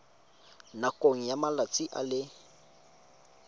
nakong ya malatsi a le